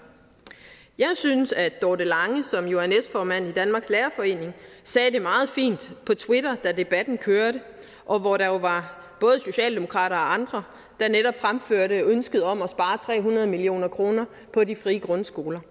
jeg synes at dorte lange som jo er næstformand i danmarks lærerforening sagde det meget fint på twitter da debatten kørte og hvor der jo var både socialdemokrater og andre der netop fremførte ønsket om at spare tre hundrede million kroner på de frie grundskoler